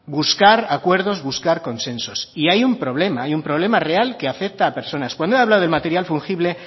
buscar acuerdos buscar consensos y hay un problema hay un problema real que afecta a personas cuando he hablado del material fungible